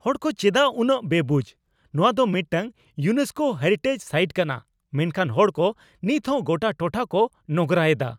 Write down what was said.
ᱦᱚᱲ ᱠᱚ ᱪᱮᱫᱟᱜ ᱩᱱᱟᱹᱜ ᱵᱮᱵᱩᱡ ? ᱱᱚᱣᱟ ᱫᱚ ᱢᱤᱫᱴᱟᱝ ᱤᱭᱩᱱᱮᱥᱠᱳ ᱦᱮᱨᱤᱴᱮᱡ ᱥᱟᱭᱤᱴ ᱠᱟᱱᱟ ᱢᱮᱱᱠᱷᱟᱱ ᱦᱚᱲᱠᱚ ᱱᱤᱛ ᱦᱚᱸ ᱜᱚᱴᱟ ᱴᱚᱴᱷᱟ ᱠᱚ ᱱᱚᱸᱜᱨᱟᱭᱮᱫᱟ ᱾